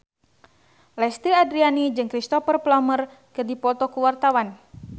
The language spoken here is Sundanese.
Lesti Andryani jeung Cristhoper Plumer keur dipoto ku wartawan